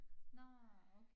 Nårh okay